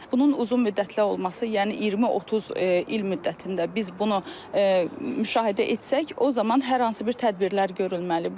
Bunun uzunmüddətli olması, yəni 20-30 il müddətində biz bunu müşahidə etsək, o zaman hər hansı bir tədbirlər görülməli.